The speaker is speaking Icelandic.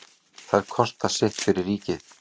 Þær kosta sitt fyrir ríkið.